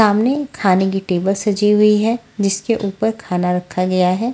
सामने खाने की टेबल सजी हुई है जिसके ऊपर खाना रखा गया है।